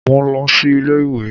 Mo lọ sí ilé ìwé.